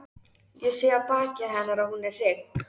Ég sé á baki hennar að hún er hrygg.